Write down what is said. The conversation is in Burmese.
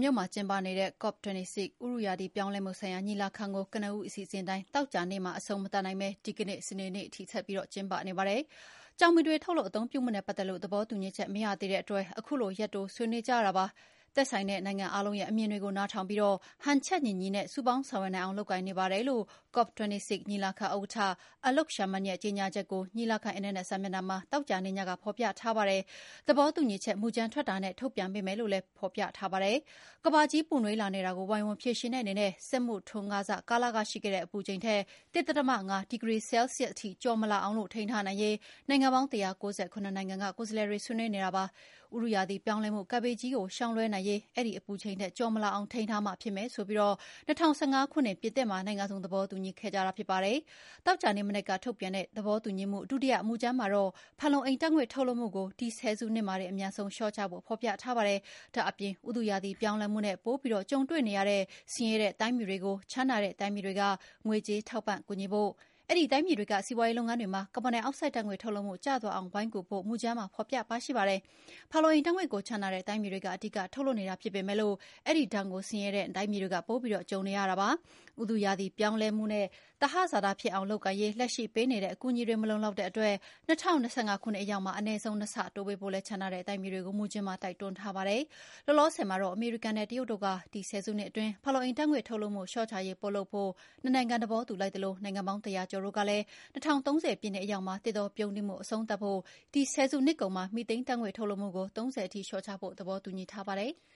မြို့မှာ ကျင်းပနေတဲ့ COP26 ဥတုရာသီ ပြောင်းလဲမှုဆိုင်ရာ ညီလာခံကို ကနဦးအစီအစဉ်အတိုင်း သောကြာနေ့မှာ အဆုံးမသတ်နိုင်ဘဲ ဒီကနေ့ စနေနေ့ထိ ဆက်ပြီး ကျင်းပနေပါတယ်။ ကျောက်မီးသွေး ထုတ်လုပ် အသုံးပြုမှုနဲ့ ပတ်သက်လို့ သဘောတူညီချက် မရသေးတဲ့အတွက် ခုလို ရက်တိုးဆွေးနွေးကြရတာပါ။ သက်ဆိုင်တဲ့နိုင်ငံအားလုံးရဲ့ အမြင်တွေကို နားထောင်ပြီး ဟန်ချက်ညီညီနဲ့ စုပေါင်းဆောင်ရွက်နိုင်အောင် လုပ်ကိုင်နေပါတယ်လို့ COP26 ညီလာခံဥက္ကဋ္ဌ Alok Sharman ရဲ့ ကြေညာချက်ကို ညီလာခံ အင်တာနက်စာမျက်နှာမှာ သောကြာနေ့ညက ဖော်ပြထားပါတယ်။ သဘောတူညီချက်မူကြမ်း ထွက်တာနဲ့ ထုတ်ပြန်ပေးမယ်လို့လည်း ကြေညာချက်မှာ ပြောထားပါတယ်။ ကမ္ဘာကြီး ပူနွေးလာနေတာကို ဝိုင်းဝန်းဖြေရှင်းတဲ့အနေနဲ့ စက်မှုထွန်းကားစ ကာလက ရှိခဲ့တဲ့ အပူချိန်ထက် ၁ ဒသမ ၅ ဒီဂရီ ဆဲလ်ဆီးယပ်စ်ထိ ကျော်မလာအောင် ထိန်းထားနိုင်ရေး နိုင်ငံပေါင်း ၁၉၇ နိုင်ငံက ကိုယ်စားလှယ်တွေ ဆွေးနွေးနေကြတာပါ။ ဥတုရာသီပြောင်းလဲမှု ကပ်ဘေးကြီးကို ရှောင်လွှဲနိုင်ရေး အဲဒီအပူချိန်ထက် ကျော်မလာအောင် ထိန်းထားမှ ဖြစ်မယ်ဆိုပြီး ၂၀၁၅ ခုနှစ်က ပြင်သစ်မှာ နိုင်ငံစုံ သဘောတူညီခဲ့ကြတာ ဖြစ်ပါတယ်။ သောကြာနေ့မနက်က ထုတ်ပြန်တဲ့ သဘောတူညီချက် ဒုတိယမူကြမ်းမှာတော့ ဖန်လုံအိမ်ဓာတ်ငွေ့ ထုတ်လွှတ်မှုကို ဒီဆယ်စုနှစ်မှာတင် အမြန်ဆုံးလျှော့ချဖို့ ဖော်ပြထားပါတယ်။ ဒါ့အပြင် ဥတုရာသီ ပြောင်းလဲမှုနဲ့ ပိုပြီး ကြုံတွေ့နေရတဲ့ ဆင်းရဲတဲ့ တိုင်းပြည်တွေကို ချမ်းသာတဲ့ တိုင်းပြည်တွေက ငွေကြေးထောက်ပံ့ကူညီဖို့၊ အဲဒီတိုင်းပြည်တွေက စီးပွားရေးလုပ်ငန်းတွေမှာ ကာဗွန်ဒိုင်အောက်ဆိုဒ်ဓာတ်ငွေ့ ထုတ်လုပ်မှု ကျသွားအောင် ဝိုင်းကူဖို့လည်း မူကြမ်းမှာ ဖော်ပြပါရှိပါတယ်။ ဖန်လုံအိမ်ဓာတ်ငွေ့ကို ချမ်းသာတဲ့ တိုင်းပြည်တွေက အဓိက ထုတ်လွှတ်နေတာ ဖြစ်ပေမယ့် အဲဒီဒဏ်ကို ဆင်းရဲတဲ့ တိုင်းပြည်တွေက ပိုပြီးခံစားနေရတာ ဖြစ်ပါတယ်။ ဥတုရာသီ ပြောင်းလဲမှုနဲ့ သဟဇာတဖြစ်အောင် လုပ်ကိုင်ရေး လက်ရှိပေးနေတဲ့ အကူအညီတွေက မလုံလောက်တဲ့အတွက် ၂၀၂၅ ခုနှစ်အရောက်မှာ အနည်းဆုံး နှစ်ဆတိုးပေးဖို့လည်း ချမ်းသာတဲ့ တိုင်းပြည်တွေကို မူကြမ်းမှာ တိုက်တွန်းထားပါတယ်။ လောလောဆယ်မှာတော့ အမေရိကန်နဲ့ တရုတ်တို့က ဒီဆယ်စုနှစ်အတွင်း ဖန်လုအိမ်ဓာတ်ငွေ့ ထုတ်လွှတ်မှု လျှော့ချရေး ပိုလုပ်ဖို့ နှစ်နိုင်ငံ သေဘောတူလိုက်သလို နိုင်ငံပေါင်း ၁၀၀ ကျော်တို့ကလည်း ၂၀၃၀ ပြည့်နှစ်အရောက်မှာ သစ်တောပြုန်းတီးမှု အဆုံးသတ်ဖို့၊ ဒီဆယ်စုနှစ်ကုန်မှာ မီသိန်းဓာတ်ငွေ့ ထုတ်လွှတ်မှုကို ၃၀ ရာခိုင်နှုန်းထိ လျှော့ချဖို့ သဘောတူညီထားပါတယ်။